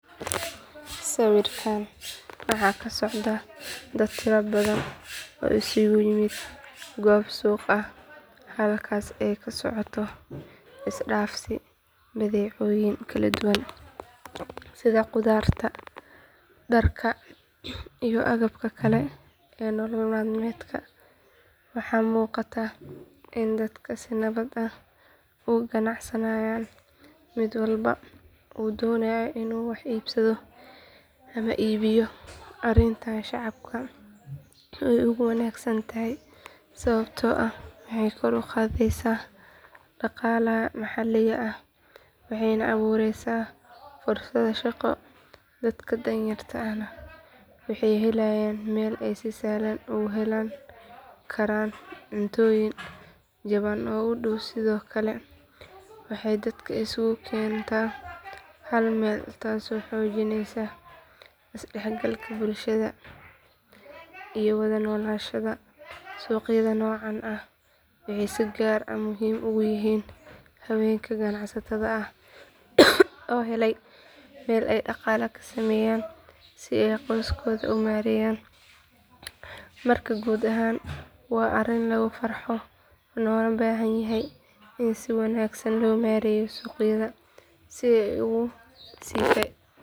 Sawirkaan waxa ka socda dad tiro badan oo isugu yimid goob suuq ah halkaasoo ay ka socoto isdhaafsi badeecooyin kala duwan sida khudaarta dharka iyo agabka kale ee nolol maalmeedka waxa muuqata in dadka si nabad ah u ganacsanayaan mid walbana uu doonayo inuu wax iibsado ama iibiyo arrintan shacabka way ugu wanaagsan tahay sababtoo ah waxay kor u qaadaysaa dhaqaalaha maxalliga ah waxayna abuureysaa fursado shaqo dadka danyarta ahna waxay helayaan meel ay si sahlan ugu heli karaan cuntooyin jaban oo u dhow sidoo kale waxay dadka isugu keentaa hal meel taasoo xoojinaysa is dhexgalka bulshada iyo wada noolaanshaha suuqyada noocan ah waxay si gaar ah muhiim ugu yihiin haweenka ganacsatada ah oo helaya meel ay dhaqaale ka sameeyaan si ay qoyskooda u maareeyaan marka guud ahaan waa arrin lagu farxo loona baahan yahay in si wanaagsan loo maareeyo suuqyada si ay uga sii.